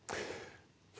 það